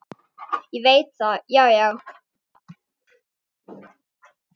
Ég veit það, já, já.